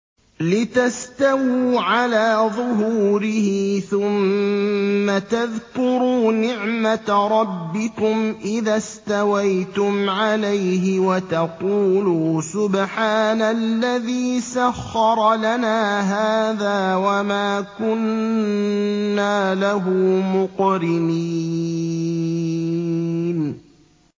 لِتَسْتَوُوا عَلَىٰ ظُهُورِهِ ثُمَّ تَذْكُرُوا نِعْمَةَ رَبِّكُمْ إِذَا اسْتَوَيْتُمْ عَلَيْهِ وَتَقُولُوا سُبْحَانَ الَّذِي سَخَّرَ لَنَا هَٰذَا وَمَا كُنَّا لَهُ مُقْرِنِينَ